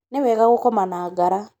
nĩ wega gũkoma na ngara